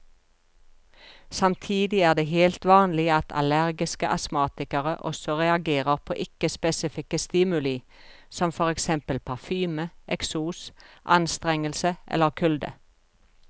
Samtidig er det helt vanlig at allergiske astmatikere også reagerer på ikke spesifikke stimuli som for eksempel parfyme, eksos, anstrengelse eller kulde.